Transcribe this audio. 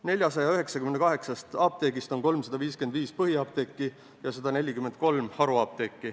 498 apteegist on põhiapteeke 355 ja haruapteeke 143.